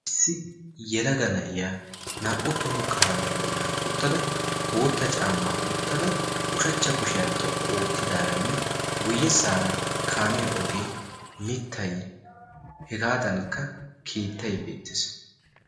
Issi yelaga na'iya naa''u toho kaamiya bollan uttada, bootta caama wottada, ushshachcha kushiya xoqqu oottadaranne guyyessara kaamiyaa oge, mittay hegadankka keettay beettes.